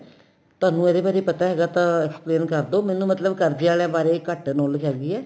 ਤੁਹਾਨੂੰ ਇਦੇ ਬਾਰੇ ਪਤਾ ਹੈਗਾ ਤਾਂ explain ਕਰ ਦੋ ਮੈਨੂੰ ਮਤਲਬ ਕਰਜਿਆ ਵਾਲੇ ਬਾਰੇ ਘੱਟ knowledge ਹੈਗੀ ਏ